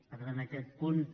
per tant aquest punt